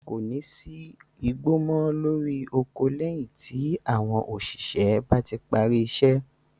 Kò ní sí igbó mọ́ lórí oko lẹ́yìn tí àwọn òṣìṣẹ́ bá parí iṣẹ́.